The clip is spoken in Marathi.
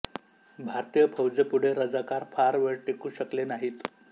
भारतीय फौजे पुढे रझाकार फार वेळ टिकू शकले नाहीत